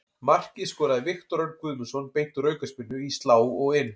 Markið skoraði Viktor Örn Guðmundsson beint úr aukaspyrnu, í slá og inn.